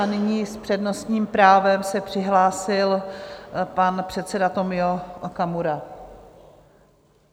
A nyní s přednostním právem se přihlásil pan předseda Tomio Okamura.